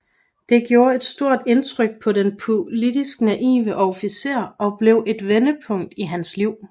Det gjorde et stort indtryk på den politisk naive officer og blev et vendepunkt i hans liv